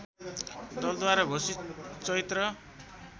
दलद्वारा घोषित चैत्र